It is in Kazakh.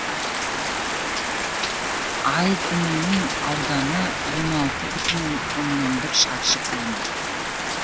айдынының ауданы он алты бүтін оннан бір шаршы километр